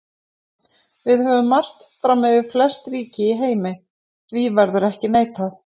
Við höfum margt fram yfir flest ríki í heimi, því verður ekki neitað.